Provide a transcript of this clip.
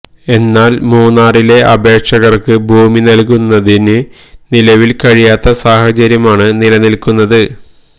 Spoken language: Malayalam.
എന്നാല് മൂന്നാറിലെ അപേക്ഷകര്ക്ക് ഭൂമി നല്കുന്നതിന് നിലവില് കഴിയാത്ത സാഹചര്യമാണ് നിലനില്ക്കുന്നത്